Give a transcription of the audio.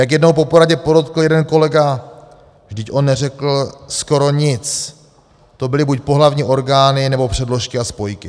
Jak jednou po poradě podotkl jeden kolega: 'Vždyť on neřekl skoro nic, to byly buď pohlavní orgány, nebo předložky a spojky.'